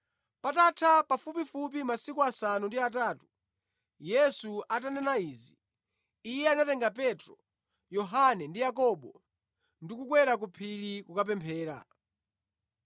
Patatha pafupifupi masiku asanu ndi atatu Yesu atanena izi, Iye anatenga Petro, Yohane ndi Yakobo ndi kukwera ku phiri kukapemphera.